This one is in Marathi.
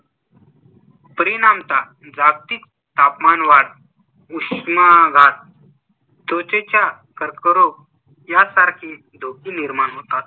परिणामतः जागतिक तापमानवाढ, उष्माघात, त्वचेचा कर्करोग या सारखे धोके निर्माण होतात